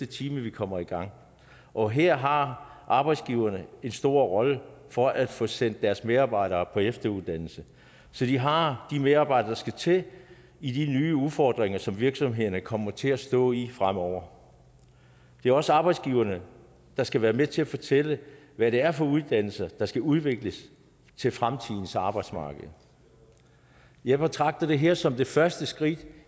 time at vi kommer i gang og her har arbejdsgiverne en stor rolle at for at få sendt deres medarbejdere på efteruddannelse så de har de medarbejdere der skal til i de nye udfordringer som virksomhederne kommer til at stå i fremover det er også arbejdsgiverne der skal være med til at fortælle hvad det er for nogle uddannelser der skal udvikles til fremtidens arbejdsmarked jeg betragter det her som det første skridt